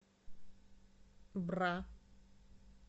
бра